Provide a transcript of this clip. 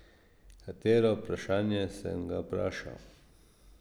Katero vprašanje, sem ga vprašal.